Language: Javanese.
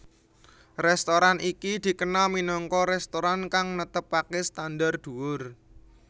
Restoran iki dikenal minangka restoran kang netepake standar dhuwur